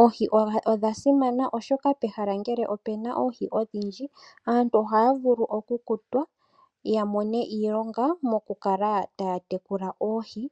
Oohi odha simana oshoka pehala ngele opuna oohi odhindji aantu ohaya vulu oku kutwa ya mone iilonga moku kala taya tekula oohi .